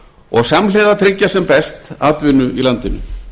og samhliða tryggja sem best atvinnu í landinu